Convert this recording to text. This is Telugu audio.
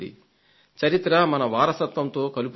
చరిత్ర మన వారసత్వంతో కలుపుతుంది